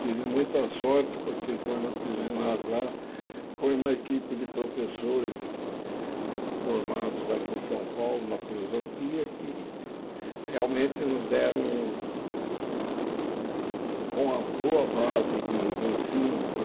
Tive muita sorte, porque quando eu fiz o ginásio lá, foi uma equipe de professores formados aqui em São Paulo, na filosofia, que realmente nos deram um boa uma boa base de de ensino, não é?